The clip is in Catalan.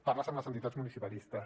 parles amb les entitats municipalistes